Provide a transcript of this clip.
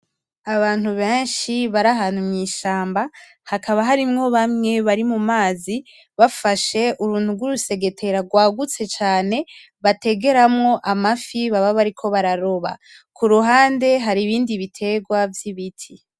Abantu beshi bari ahantu mu ishamba hakaba harimwo bamwe bari mu mazi bafashe uruntu rw'urusegetera rwagutse cane bategeramwo amafi baba bariko bararoba kuruhande hari ibindi biterwa vy'ibiti.